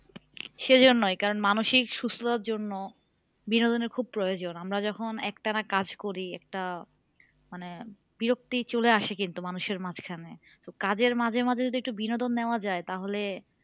সে জন্যই কারণ মানসিক সুস্থতার জন্য বিনোদনের খুব প্রয়োজন আমরা যখন একটানা কাজ করি একটা মানে বিরক্তি চলে আসে কিন্তু মানুষের মাঝখানে কাজের মাঝে মাঝে যদি একটু বিনোদন নেওয়া যায় তাহলে